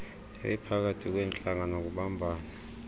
ebiphakathi kweentlanga nokubumbana